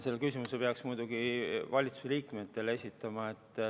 Selle küsimuse peaks muidugi valitsuse liikmetele esitama.